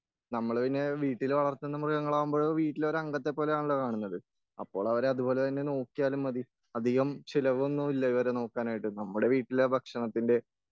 നമ്മള് പിന്നെ വീട്ടിൽ വളർത്തുന്ന മൃഗങ്ങളാലാകുമ്പോൾ വീട്ടിലെ ഒരു അംഗത്തെ പോലെയാണല്ലോ കരുതുന്നത്.അപ്പോൾ അവരെ അതുപോലെതന്നെ നോക്കിയാലും മതീ.അധികം ചിലവൊന്നുല്ല ഇവരെ നോക്കാനായിട്ട്.നമ്മുടെ വീട്ടിലെ ഭക്ഷണത്തിന്റെ